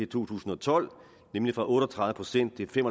to tusind og tolv nemlig fra otte og tredive procent til fem